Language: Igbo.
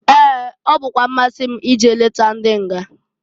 Ee! Ọ bụkwa mmasị m ije leta ndị nga.